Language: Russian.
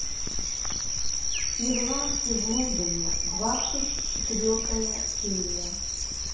ирландцы в лондоне двадцать четвертая серия